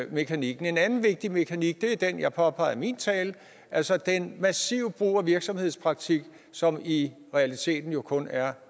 mekanikken en anden vigtig mekanik er den jeg påpegede i min tale altså den massive brug af virksomhedspraktik som i realiteten jo kun er